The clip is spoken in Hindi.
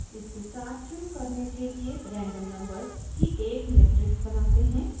इसके साथ शुरू करने के लिए रैंडम नंबर्स की एक मेट्रिक्स बनाते हैं